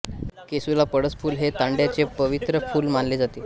केसुला पळसफुल हे तांडयाचे पवित्र फुल मानले जाते